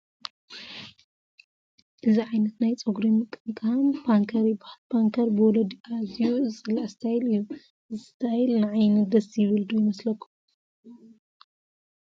እዚ ዓይነት ናይ ፀጉሪ ምቕምቃም ፓንከር ይበሃል፡፡ ፓንከር ብወለዲ ኣዝዩ ዝፅላእ ስታይል እዩ፡፡ እዚ ስታይል ንዓይኒ ደስ ይብል ዶ ይመስለኩም?